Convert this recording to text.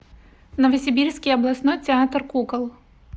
новосибирский областной театр кукол